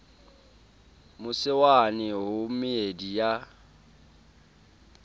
mose wane ho meedi ya